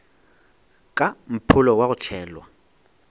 ka mpholo wa go tšhelwa